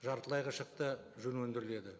жартылай қылшықты жүн өндіріледі